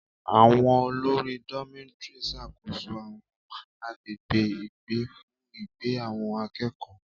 Àwọn olórí Dormitory ń ṣàkóso àwọn agbègbè ìgbé fún ìgbé àwọn akẹ́kọ̀ọ́.